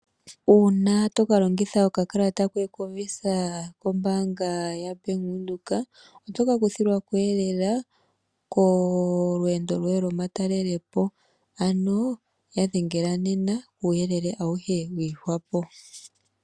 Una toka longitha okakalata koye koVisa kombanga yaBank Windhoek otoka kuthilwako elela kolweendo lwoye loma talelopo. Ano yadhengela nena kuuyelele wiihwapo.